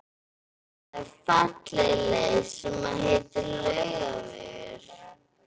Það er falleg leið sem heitir Laugavegur.